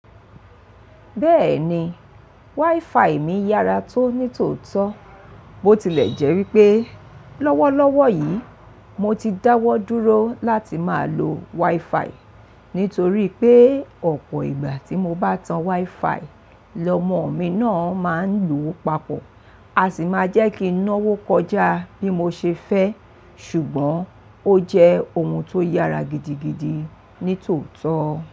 Bẹ́ẹ̀ni, wifi mi yára tó ní tòótọ́. Bo tilẹ̀ jẹ́ wípé lọ́wọ́lọ́wọ́ yìí mo ti dáwọ́ dúró láti máa lo wifi nítorí pé ọ̀pọ̀ ìgbà tí mo bá tan wifi, lọmọ mi náà máa ń lò ó papọ̀. A sì máa jẹ́ kí n náwó kọjá bí mo ṣe fẹ́. Ṣùgbọ́n ó jẹ́ ohun tó yára gidigidi ní tòótọ́.